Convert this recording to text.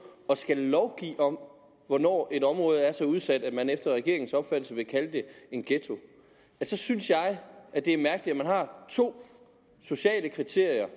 at skulle lovgive om hvornår et område er så udsat at man efter regeringens opfattelse vil kalde det en ghetto så synes jeg det er mærkeligt at man har to sociale kriterier